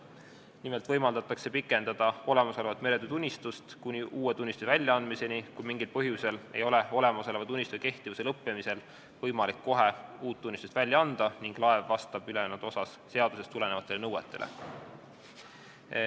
Nimelt võimaldatakse pikendada olemasolevat meretöötunnistust kuni uue tunnistuse väljaandmiseni, kui mingil põhjusel ei ole olemasoleva tunnistuse kehtivuse lõppemisel võimalik kohe uut tunnistust välja anda ning laev vastab ülejäänud osas seadusest tulenevatele nõuetele.